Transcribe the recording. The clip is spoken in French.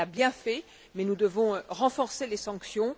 elle l'a bien fait, mais nous devons renforcer les sanctions.